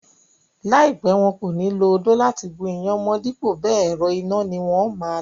Láìpẹ́, wọn kò ní lo odó láti gún iyán mọ́n dípò bẹẹ̀, ẹ̀rọ iná ni wón máa lò.